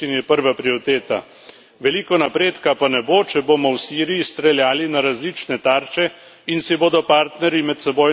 Veliko napredka pa ne bo, če bomo v Siriji streljali na različne tarče in si bodo partnerji medsebojno sestreljevali letala.